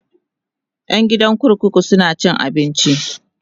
ƴan gidan kurkuku suna cin abinci